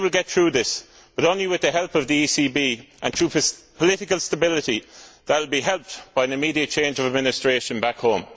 We will get through this, but only with the help of the ECB and through political stability that would be helped by an immediate change of administration back home.